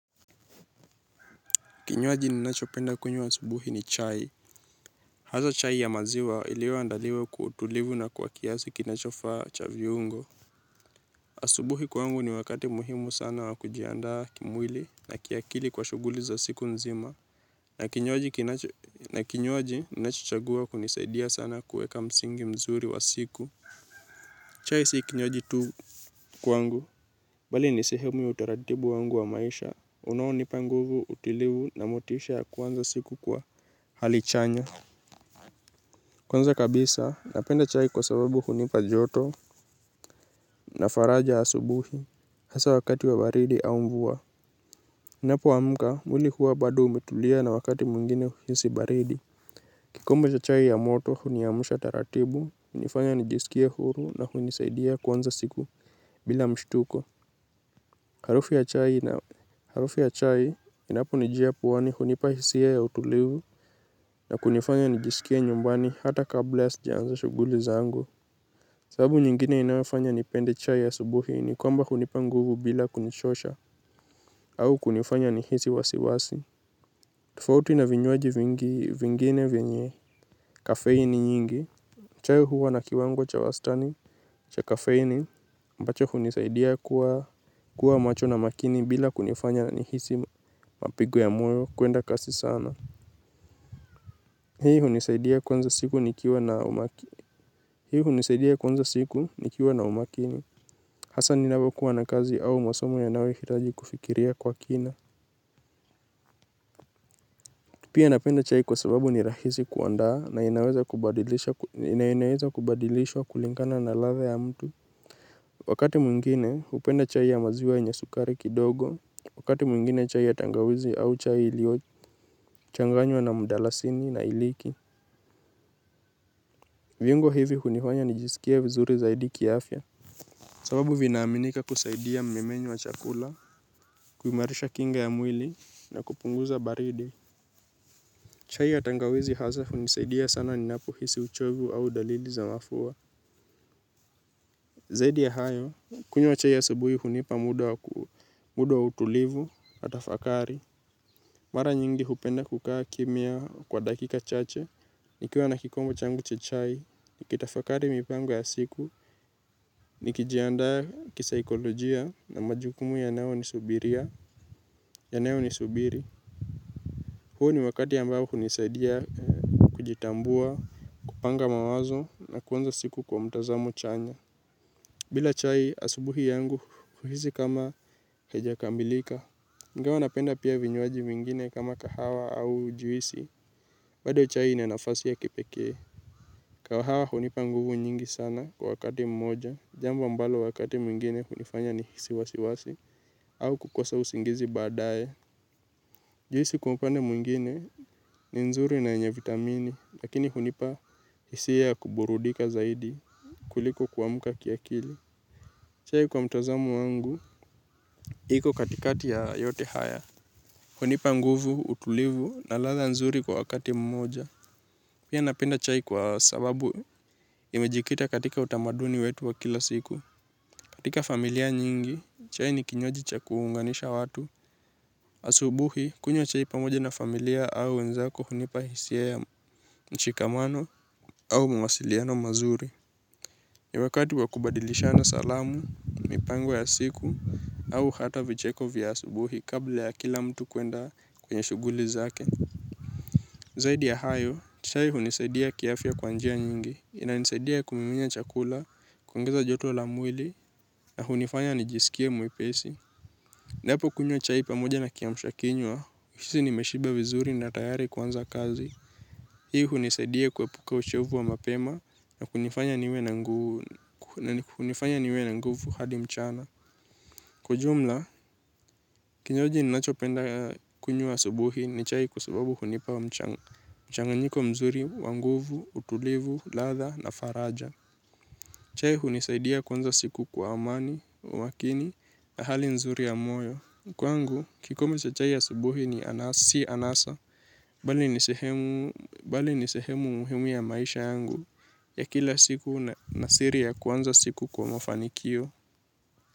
Kinywaji ninachopenda kunywa asubuhi ni chai. Haswa chai ya maziwa iliyoandaliwa kwa utulivu na kwa kiasi kinachofaa cha viungo. Asubuhi kwangu ni wakati muhimu sana wa kujiandaa kimwili na kiakili kwa shughuli za siku nzima. Na kinywaji ninachochagua kunisaidia sana kuweka msingi mzuri wa siku. Chai si kinywaji tu kwangu. Bali ni sehemu ya utaratibu wangu wa maisha. Unaonipa nguvu, utulivu na motisha ya kuanza siku kwa hali chanya. Kwanza kabisa, napenda chai kwa sababu hunipa joto na faraja asubuhi hasa wakati wa baridi au mvua. Ninapoamka, mwili huwa bado umetulia na wakati mwingine huhisi baridi. Kikombe cha chai ya moto, huniamsha taratibu, hunifanya nijisikie huru na kunisaidia kuanza siku bila mshtuko. Harufu ya chai inaponijia puani hunipa hisia ya utulivu, na kunifanya nijisikie nyumbani hata kabla sijaanza shughuli zangu. Sababu nyingine inayofanya nipende chai asubuhi ni kwamba hunipa nguvu bila kunichosha, au kunifanya nihisi wasiwasi. Tofauti na vinywaji vingine venye kafeini nyingi. Chai huwa na kiwango cha wastani cha kafeini mbacho hunisaidia kuwa macho na makini bila kunifanya nihisi mapigo ya moyo kwenda kasi sana. Hii hunisaidia kuanza siku nikiwa na umakini. Hasa ninapokuwa na kazi au masomo yanayohitaji kufikiria kwa kina pia napenda chai kwa sababu ni rahisi kuandaa, na inaweza kubadilishwa kulingana na ladha ya mtu wakati mwingine, hupenda chai ya maziwa yenye sukari kidogo wakati mwingine chai ya tangawizi au chai iliyochanganywa na mdalasini na hailiki. Viungo hivi hunifanya nijisikie vizuri zaidi kiafya. Sababu vinaaminika kusaidia mmeng'enyo wa chakula, kuimarisha kinga ya mwili na kupunguza baridi. Chai ya tangawizi hasa hunisaidia sana ninapohisi uchovu au dalili za mafua. Zaidi ya hayo, kunywa chai asubuhi hunipa muda wa utulivu na tafakari. Mara nyingi hupenda kukaa kimya kwa dakika chache, nikiwa na kikombe changu cha chai, nikitafakari mipango yangu ya siku, nikijiandaa kisaikolojia na majukumu yanayonisubiri. Huo ni wakati ambao hunisaidia kujitambua, kupanga mawazo na kuanza siku kwa mtazamo chanya. Bila chai asubuhi yangu huisi kama haijakamilika. Ingawa napenda pia vinywaji vingine kama kahawa au juisi bado chai ina nafasi ya kipekee. Kahawa hunipa nguvu nyingi sana kwa wakati mmoja, jambo ambalo wakati mwingine hunifanya nihisi wasiwasi, au kukosa usingizi badaye. Juisi kwa upande mwingine, ni nzuri na yenye vitamini. Lakini hunipa hisia ya kuburudika zaidi kuliko kuamuka kiakili. Chai kwa mtazamo wangu, iko katikati ya yote haya. Hunipa nguvu, utulivu na ladha nzuri kwa wakati mmoja. Pia napenda chai kwa sababu imejikita katika utamaduni wetu wa kila siku. Katika familia nyingi, chai ni kinywaji cha kuunganisha watu. Asubuhi, kunywa chai pamoja na familia au wenzako hunipa hisia ya mshikamano au mawasiliano mazuri. Ni wakati wakubadilishana salamu, mipango ya siku, au hata vicheko vya asubuhi kabla ya kila mtu kwenda kwenye shuguli zake. Zaidi ya hayo, chai hunisaidia kiafya kwa njia nyingi. Inanisaidia kumumunya chakula, kuongeza joto la mwili na hunifanya nijisikie mwipesi. Ninapokunywa chai pamoja na kiamsha kinywa, huisi nimeshiba vizuri na tayari kuanza kazi. Hii hunisaidia kuepuka uchovu wa mapema na kunifanya niwe na nguvu hadi mchana. Kwa jumla, kinywaji ninachopenda kunywa asubuhi ni chai kwa sababu hunipa mchanganyiko mzuri wa nguvu, utulivu, ladha, na faraja. Chai hunisaidia kuanza siku kwa amani, umakini na hali nzuri ya moyo. Kwangu, kikombe cha chai asubuhi si anasa, bali ni sehemu muhimu ya maisha yangu ya kila siku na siri ya kuanza siku kwa mafanikio.